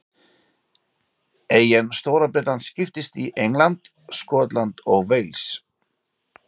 Eyjan Stóra-Bretland skiptist í England, Skotland og Wales.